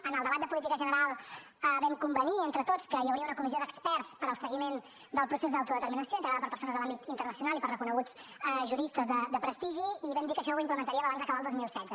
en el debat de política general vam convenir entre tots que hi hauria una comissió d’experts per al seguiment del procés d’autodeterminació integrada per persones de l’àmbit internacional i per reconeguts juristes de prestigi i vam dir que això ho implementaríem abans d’acabar el dos mil setze